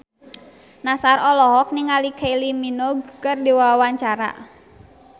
Nassar olohok ningali Kylie Minogue keur diwawancara